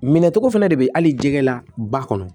Minɛ cogo fɛnɛ de bɛ hali jɛgɛ la ba kɔnɔ